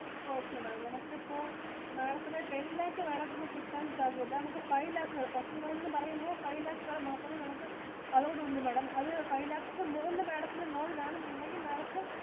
Okay Madam നമുക്ക് ഇപ്പൊ Madam ത്തിനു ten lakh Madam ത്തിനു കിട്ടാൻ സാദ്യത ഇല്ല. നമുക്ക് Five lakh എടുക്കാം. Personal loan എന്ന് പറയുമ്പോ five lakhs വരെ മാത്രമേ നമുക്ക് allowed ഉള്ളു Madam അത് five lakhs ഇന് മുകുളില് Madam ത്തിനു loan വേണമെന്നു ഉണ്ടെങ്കിൽ Madam ത്തിനു